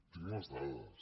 tinc les dades